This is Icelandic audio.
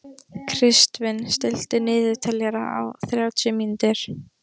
Kristvin, stilltu niðurteljara á þrjátíu mínútur.